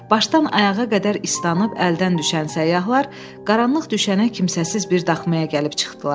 Başdan ayağa qədər ıstanıb əldən düşən səyyahlar qaranlıq düşənə kimsəsiz bir daxmaya gəlib çıxdılar.